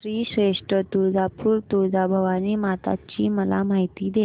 श्री क्षेत्र तुळजापूर तुळजाभवानी माता ची मला माहिती दे